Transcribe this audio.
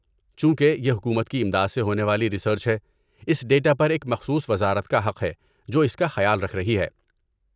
چونکہ یہ حکومت کی امداد سے ہونے والی ریسرچ ہے، اس ڈیٹا پر ایک مخصوص وزارت کا حق ہے جو اس کا خیال رکھ رہی ہے۔